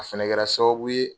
A fana kɛra sababu ye.